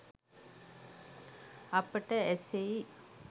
අපට ඇසෙයි.